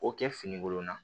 O kɛ fini wolonfila